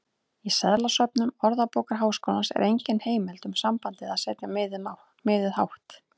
Í seðlasöfnum Orðabókar Háskólans er engin heimild um sambandið að setja miðið hátt.